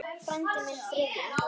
Frændi minn, Friðjón